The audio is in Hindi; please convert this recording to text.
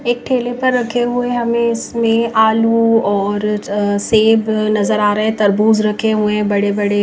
एक ठेले पर रखे हुए हमें इसमें आलू और सेब नजर आ रहें तरबूज रखे हुए हैं बड़े बड़े--